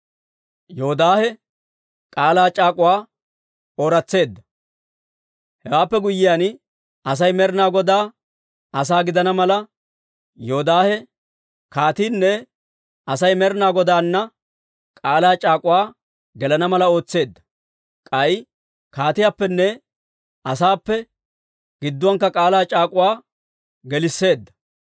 Hewaappe guyyiyaan, Asay Med'ina Godaa asaa gidana mala, Yoodaahe kaatiinne Asay Med'ina Godaanna k'aalaa c'aak'uwaa gelana mala ootseedda. K'ay kaatiyaappenne asaappenne gidduwaankka k'aalaa c'aak'uwaa geliseedda.